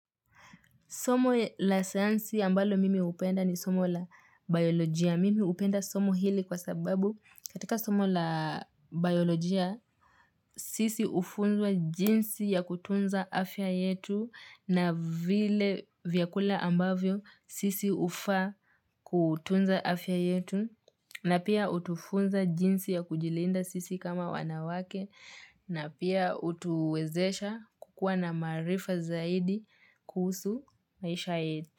Somo la sayansi ambalo mimi hupenda ni somo la biolojia. Mimi upenda somo hili kwa sababu katika somo la biolojia sisi ufunzwa jinsi ya kutunza afya yetu na vile vyakula ambavyo sisi ufa kutunza afya yetu. Na pia utufunza jinsi ya kujilinda sisi kama wanawake na pia utuwezesha kukua na maarifa zaidi kuusu maisha yetu.